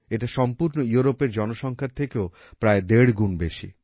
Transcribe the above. এটা সম্পূর্ণ ইউরোপের জনসংখ্যার থেকেও প্রায় দেড় গুণ বেশি